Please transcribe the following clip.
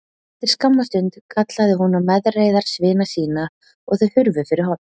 Eftir skamma stunda kallaði hún á meðreiðarsvina sína og þau hurfu fyrir horn.